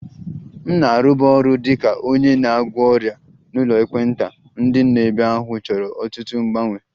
M na-arụbu ọrụ dị ka onye na-agwọ ọrịa n'ụlọ ekpenta, ndị nọ ebe ahụ chọrọ ọtụtụ mgbanwe